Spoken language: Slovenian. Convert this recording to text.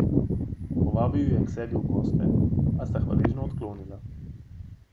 Povabil ju je k sebi v goste, a sta hvaležno odklonila.